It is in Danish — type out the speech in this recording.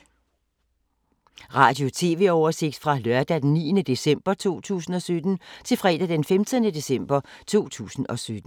Radio/TV oversigt fra lørdag d. 9. december 2017 til fredag d. 15. december 2017